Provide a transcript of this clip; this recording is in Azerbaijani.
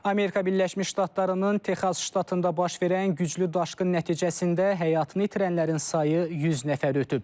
Amerika Birləşmiş Ştatlarının Texas ştatında baş verən güclü daşqın nəticəsində həyatını itirənlərin sayı 100 nəfər ötüb.